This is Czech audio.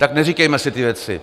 Tak neříkejme si ty věci.